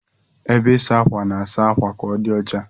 Ebe ịsa ákwà na-asa akwa ka odi ọcha.